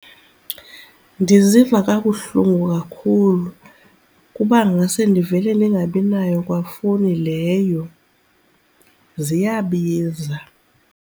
Ndiziva kabuhlungu kakhulu, kuba ngase ndivele ndingabi nayo kwafowuni leyo. Ziyabiza.